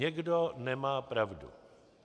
Někdo nemá pravdu.